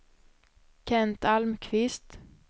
Kent Almqvist